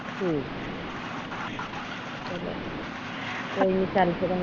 ਹਮ ਕੋਈ ਨੀ .